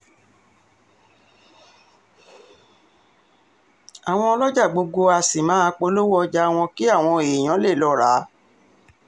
àwọn ọlọ́jà gbogbo àá sì máa polówó ọjà wọn kí àwọn èèyàn lè lọ́ọ rà á